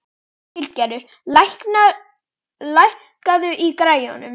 Hildigerður, lækkaðu í græjunum.